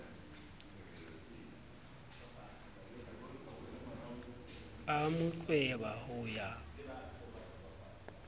a mo tlweba ho ya